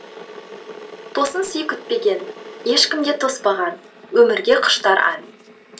тосын сый күтпеген ешкім де тоспаған өмірге құштар ән